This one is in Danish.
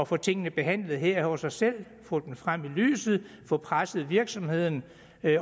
få tingene behandlet her hos os selv og få dem frem i lyset og få presset virksomheden